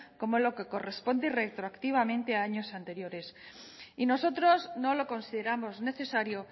como lo que corresponde retroactivamente a años anteriores y nosotros no lo consideramos necesario